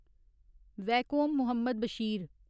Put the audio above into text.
Vaikom Muhammad Bashir